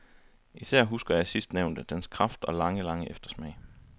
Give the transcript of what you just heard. Især husker jeg sidstnævnte, dens kraft og lange, lange eftersmag.